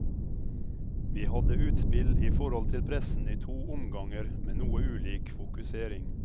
Vi hadde utspill i forhold til pressen i to omganger med noe ulik fokusering.